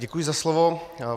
Děkuji za slovo.